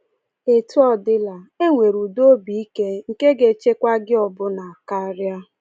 Etu ọ dịla, e nwere ụdị obi ike nke ga-echekwa gị ọbụna karịa.